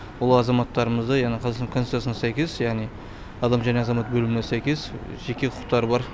ол азаматтарымызда яғни қазақстан конституциясына сәйкес яғни адам және азамат бөліміне сәйкес жеке құқықтары бар